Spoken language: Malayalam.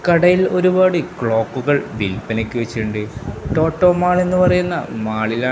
കടയിൽ ഒരുപാട് ക്ലോക്കുകൾ വിൽപ്പനയ്ക്ക് വച്ചിട്ടുണ്ട് ടോട്ടോ എന്നുപറയുന്ന മാളില --